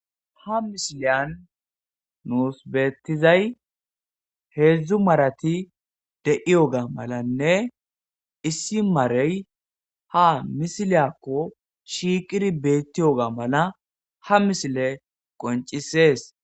Ha misiliyan nuus beeththizay heedzdzu marathi de7iyoogaa malanne issi marey ha misiliyaakko shiiqiri beeththiyoogaa mala ha misilee qonccissees.